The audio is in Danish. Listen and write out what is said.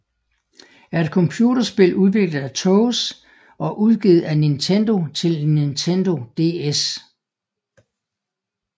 er et computerspil udviklet af TOSE og udgivet af Nintendo til Nintendo DS